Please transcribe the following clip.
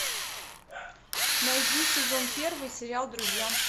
найди сезон первый сериал друзья